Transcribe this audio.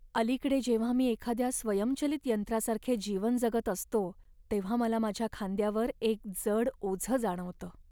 अलीकडे जेव्हा मी एखाद्या स्वयंचलित यंत्रासारखे जीवन जगत असतो, तेव्हा मला माझ्या खांद्यावर एक जड ओझं जाणवतं.